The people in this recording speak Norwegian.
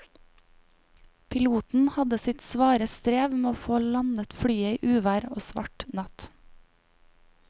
Piloten hadde sitt svare strev med å få landet flyet i uvær og svart natt.